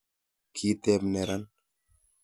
kiteb neran